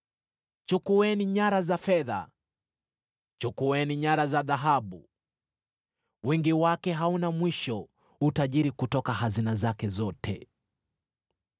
Chukueni nyara za fedha! Chukueni nyara za dhahabu! Wingi wake hauna mwisho, utajiri kutoka hazina zake zote!